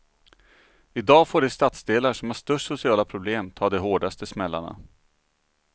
I dag får de stadsdelar som har störst sociala problem ta de hårdaste smällarna.